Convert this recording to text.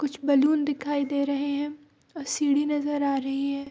कुछ बैलून दिखाई दे रहे है और सीढ़ी नजर आ रहे है।